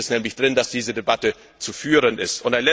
Da steht es nämlich drin, dass diese Debatte zu führen ist.